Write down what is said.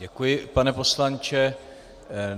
Děkuji, pane poslanče.